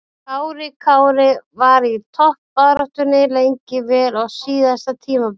Kári Kári var í toppbaráttunni lengi vel á síðasta tímabili.